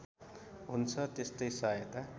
हुन्छ त्यस्तै सहायता